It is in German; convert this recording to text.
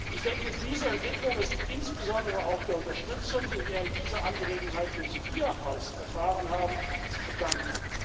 Ich denke, diese Entwicklung ist insbesondere auch der Unterstützung, die wir in dieser Angelegenheit durch Ihr Haus erfahren haben, zu verdanken.